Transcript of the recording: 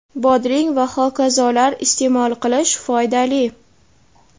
bodring va h.k) iste’mol qilish foydali.